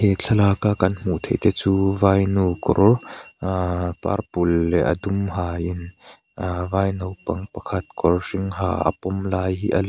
he thlalaka kan hmuh theih te chu vainu kawr purple leh a dum hain vai naupang pakhat kawr hring ha a pawm lai hi a lang --